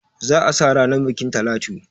Za a sa ranan bukin Talatu.